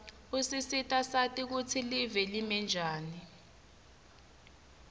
usisita sati kutsi live limenjani